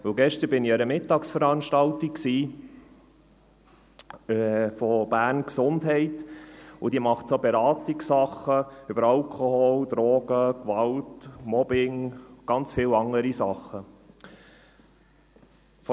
Denn gestern war ich an einer Mittagsveranstaltung der Berner Gesundheit, die Beratungssachen über Alkohol, Drogen, Gewalt, Mobbing und ganz viel weitere Sachen anbietet.